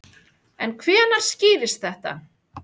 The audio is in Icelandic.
En hvenær skýrist þetta?